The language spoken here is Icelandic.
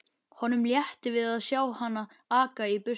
Honum létti við að sjá hana aka í burtu.